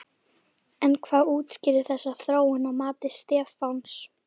En hvað útskýrir þessa þróun að mati Stefáns?